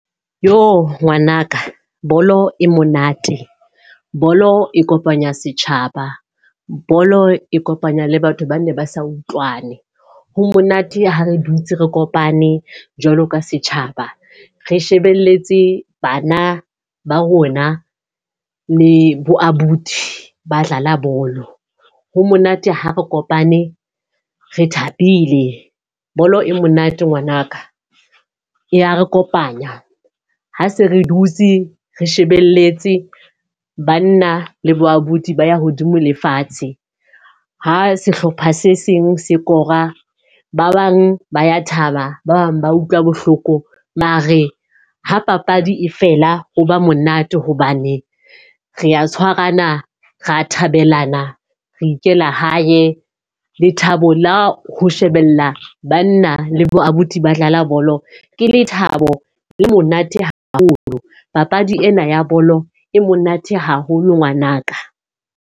Jo! Ngwanaka bolo e monate, bolo e kopanya setjhaba, bolo e kopanya le batho ba ne ba sa utlwane. Ho monate ha re dutse re kopane jwalo ka setjhaba, re shebeletse bana ba rona le bo abuti ba tlala bolo. Ho monate ha re kopane re thabile. Bolo e monate ngwanaka, ya re kopanya. Ha se re dutse re shebeletse banna le bo abuti ba ya hodimo le fatshe. Ha sehlopha se seng se kora. Ba bang ba ya thaba, ba bang ba utlwa bohloko. Mare ha papadi e fela ho ba monate hobane re a tshwarana, ra thabelana re ikela hae. Lethabo la ho shebella banna le bo abuti ba dlala bolo, ke lethabo le monate haholo. Papadi ena ya bolo e monate haholo ngwanaka.